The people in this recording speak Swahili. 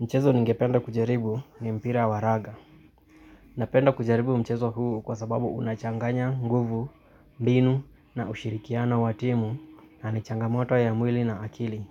Mchezo ningependa kujaribu ni mpira wa raga. Napenda kujaribu mchezo huu kwa sababu unachanganya nguvu, mbinu na ushirikiano wa timu na nichanga moto ya mwili na akili.